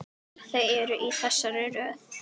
Þau eru í þessari röð